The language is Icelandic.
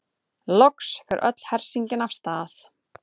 Loks fer öll hersingin af stað.